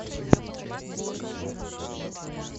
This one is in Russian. покажи викинги